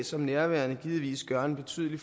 som nærværende givetvis gøre en betydelig